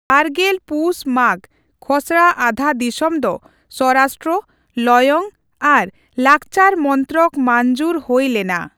ᱵᱟᱨᱜᱮᱞ ᱯᱩᱥᱼᱢᱟᱜᱷ, ᱠᱷᱚᱥᱲᱟ ᱟᱫᱷᱟᱫᱤᱥᱚᱢ ᱫᱚ ᱥᱵᱚᱨᱟᱥᱴᱨᱚ, ᱞᱚᱭᱚᱝ ᱟᱨ ᱞᱟᱠᱪᱟᱨ ᱢᱚᱱᱛᱨᱚᱠ ᱢᱟᱹᱧᱡᱩᱨ ᱦᱩᱭ ᱞᱮᱱᱟ ᱾